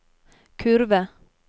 kurve